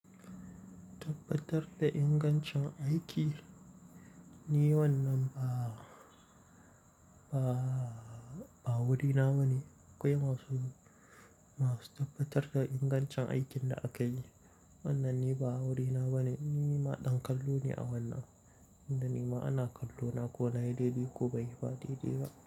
Tabbatar da ingancin aiki. Ni wannan ba, ba, ba wurina ba ne. Akwai masu, masu tabbatar da ingancin aikin da aka yi. Wannan ni ba wurina ba ne. Ni ma ɗan kallo ne a wannan, inda nima ana kallo na ko na yi daidai ko ban yi ba daidai ba.